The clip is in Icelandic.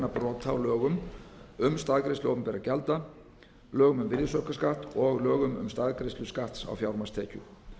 brota á lögum um staðgreiðslu opinberra gjalda lögum um virðsiaukaskatts og lögum um staðgreiðslu skatts á fjármagnstekjur